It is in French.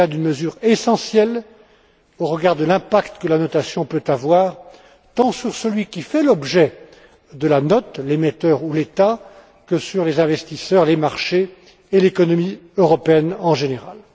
Il s'agit là d'une mesure essentielle, au regard de l'impact que la notation peut avoir, tant sur celui qui fait l'objet de la note l'émetteur ou l'État que sur les investisseurs, les marchés et l'économie européenne, en général.